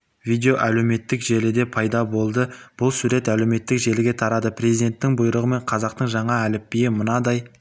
видео әлеуметтік желіде пайда болды бұл сурет әлеуметтік желіге тарады президенттің бұйрығымен қазақтың жаңа әліпбиі мынадай